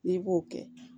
N'i b'o kɛ